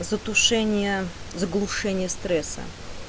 затушение заглушения стресса